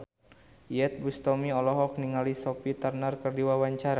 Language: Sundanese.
Iyeth Bustami olohok ningali Sophie Turner keur diwawancara